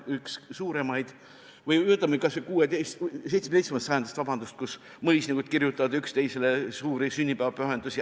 Üks suuremaid oli kas või 17. sajandist, kui mõisnikud kirjutasid üksteisele suuri sünnipäevapühendusi.